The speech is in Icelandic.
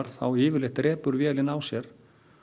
þá yfirleitt drepur vélin á sér